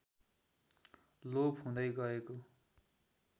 लोप हुँदै गएको